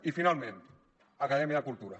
i finalment acadèmia cultura